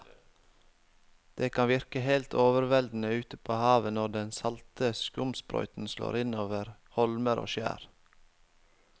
Det kan virke helt overveldende ute ved havet når den salte skumsprøyten slår innover holmer og skjær.